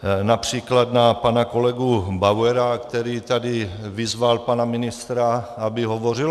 Například na pana kolegu Bauera, který tady vyzval pana ministra, aby hovořil.